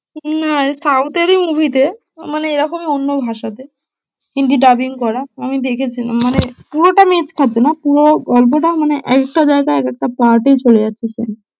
না রে south এর ই movie তে মানে এরকমই অন্য ভাষাতে hindi dubbing করা, আমি দেখেছি মানে পুরোটা match করছে না, পুরো গল্পটা মানে একেকটা জায়গায় এক একটা part এ চলে যাচ্ছে